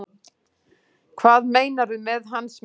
Hvað meinarðu með hans menn?